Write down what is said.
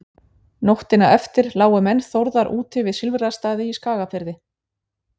nóttina eftir lágu menn þórðar úti við silfrastaði í skagafirði